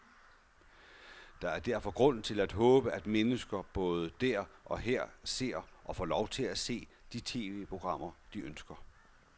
Der er derfor grund til at håbe, at mennesker både der og her ser, og får lov til at se, de tv-programmer, de ønsker.